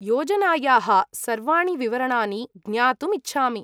योजनायाः सर्वाणि विवरणानि ज्ञातुम् इच्छामि।